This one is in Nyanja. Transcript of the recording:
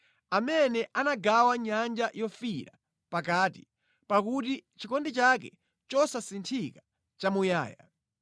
Amene anagawa Nyanja Yofiira pakati, pakuti chikondi chake chosasinthika nʼchamuyaya.